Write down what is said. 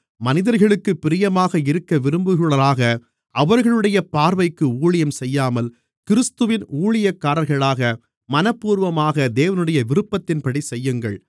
மனிதர்களுக்குப் பிரியமாக இருக்கவிரும்புகிறவர்களாக அவர்களுடைய பார்வைக்கு ஊழியம் செய்யாமல் கிறிஸ்துவின் ஊழியக்காரர்களாக மனப்பூர்வமாக தேவனுடைய விருப்பத்தின்படி செய்யுங்கள்